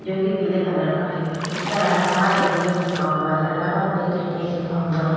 जो कि पीले कलर का है उस पर इलाहाबाद ए. टी. एम. लिखा हुआ है Allahabad bank A. T. M. लिखा हुआ है।